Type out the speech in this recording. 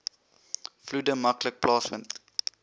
vloede maklik plaasvind